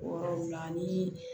O yɔrɔ la ni